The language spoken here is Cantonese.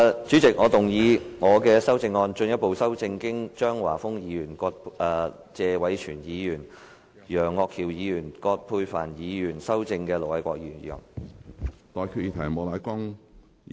主席，我動議我的修正案，進一步修正經張華峰議員、謝偉銓議員、楊岳橋議員及葛珮帆議員修正的盧偉國議員議案。